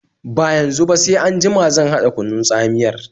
Ba yanzu ba, sai anjima zan haɗa kunun tsamiyar